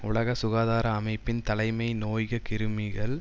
உலக சுகாதார அமைப்பின் தலைமை நோய்க கிருமிகள்